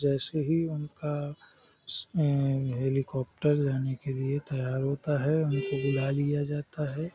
जैसे ही उनका अअ हेलीकॉप्टर जाने के लिए तैयार होता है उनको बुला लिया जाता है ।